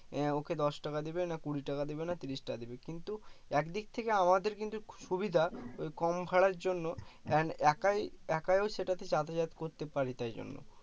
এ ওকে দশ টাকা দেবে না কুড়ি টাকা দেবে না তিরিশ টাকা দেবে কিন্তু এক দিক থেকে আমাদের কিন্তু সুবিধা ওই কম ভাড়ার জন্য and একাই একাও সেটা তে যাতায়াত করতে পারি তাই জন্য